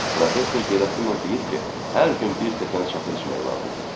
Professor Gerasimov deyir ki, hər gün bir stəkan şaxır içmək lazımdır.